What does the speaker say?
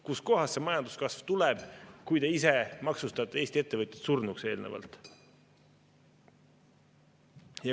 Kust kohast see majanduskasv tuleb, kui te ise maksustate Eesti ettevõtjad surnuks eelnevalt?